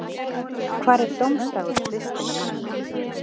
hvað er dómsdagur kristinna manna